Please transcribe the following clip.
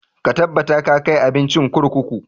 Ka tabbata ka kai abincin kurkuku!